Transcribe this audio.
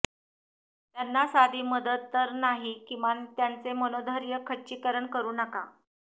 त्यांना साधी मदत तर नाही किमान त्यांचे मनोधैर्य खच्चीकरण करू नका